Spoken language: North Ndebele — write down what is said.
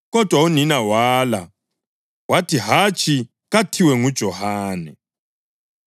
kodwa unina wala wathi, “Hatshi! Kathiwe nguJohane.”